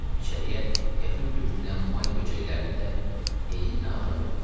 İçəriyə qəfil dürtülən may böcəklərini də eyninə alan yox idi.